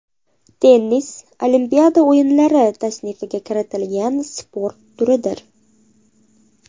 Tennis Olimpiada o‘yinlari tasnifiga kiritilgan sport turidir.